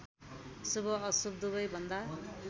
शुभ अशुभ दुवैभन्दा